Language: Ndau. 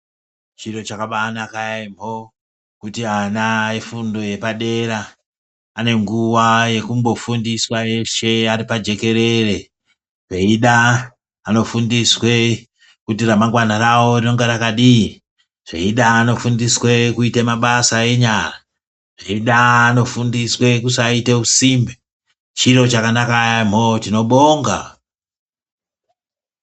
Chiro chakabaanaka yaemho kuti efundo yepadera anenguwa yekumbofundisw eshe aripajekerere veida vanofundiswe kuti remangwana rawo rinonga rakadii, zveida vanofundiswe kuite mabasa enyara ,zveida anofundiswe kusaite usimbe chiro chakanaka yaamho tinobonga.